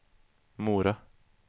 Mora